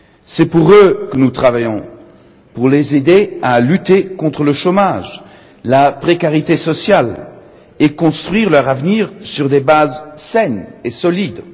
C'est pour eux que nous travaillons, pour les aider à lutter contre le chômage et la précarité sociale et construire leur avenir sur des bases saines et solides.